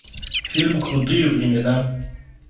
фильм крутые времена